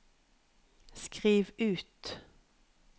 skriv ut